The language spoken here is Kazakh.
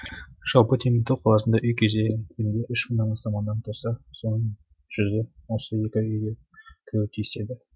жалпы теміртау қаласында үй кезегінде үш мыңнан астам адам тұрса соның жүзі осы екі үйге кіруі тиіс еді